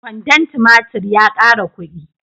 Kwandon tumatur ya ƙara kuɗi.